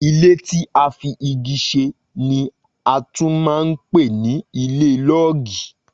Ilé tí a fi igi ṣe ni a tún man pè ní ilé lọọgi